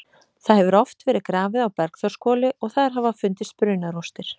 Það hefur oft verið grafið á Bergþórshvoli og þar hafa fundist brunarústir.